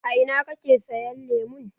A ina kake sayan lemon?